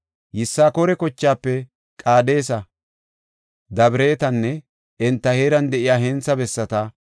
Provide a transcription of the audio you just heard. Yisakoora kochaafe Qaadesa, Dabiraatenne enta heeran de7iya hentha bessata,